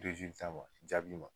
wa jaabi ma